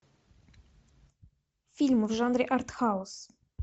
фильмы в жанре арт хаус